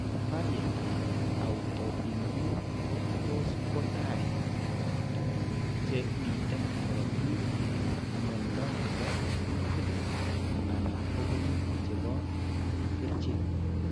Barietap autoimmune ko tos' ko tai tuguk che miten korotik, mnyando ne po kutik anan kobunu che po kerchek.